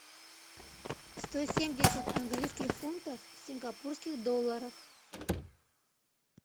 сто семьдесят английских фунтов в сингапурских долларах